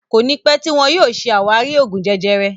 Kọ́ni pẹ tíì wọn yìí ó ṣe ṣé àwárí Oògún jẹjẹrẹ